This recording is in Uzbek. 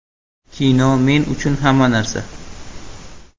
Kino men uchun hamma narsa.